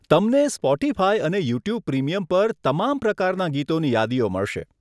તમને સ્પોટીફાય અને YouTube premium પર તમામ પ્રકારના ગીતોની યાદીઓ મળશે.